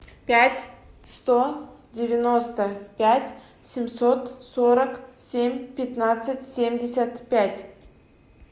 пять сто девяносто пять семьсот сорок семь пятнадцать семьдесят пять